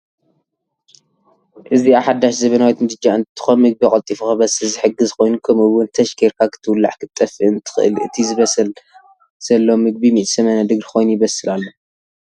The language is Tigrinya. አዝአ ሓዳሽ ዘበናዊት ምድጃ እንትትኮን ምግቢ ቀልጢፉ ክበስል ዝሕግዝ ኮይኑ ከምኡዉን ተች ገይርካ ክትዉላዕ ክትጠፍእን ትክል እቲ ዝበስል ዘሎ ምግቢ 180 ዲግሪ ኮይኑ ይበስል አሎ።